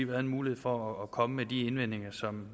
været en mulighed for at komme med de indvendinger som